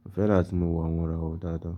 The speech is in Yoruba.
Mo fẹ́ràn tí mo wò àwọn ìràwọ̀ dáadáa.